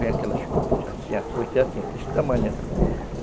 Vem aquelas, assim, a fuste é assim, desse tamanho assim.